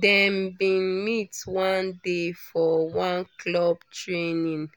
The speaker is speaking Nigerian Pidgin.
dem bin meet one day for one club training